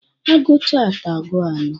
A gụcha atọ, agụọ anọ.